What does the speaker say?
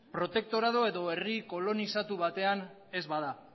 protektorado edo herri kolonizatu batean ez bada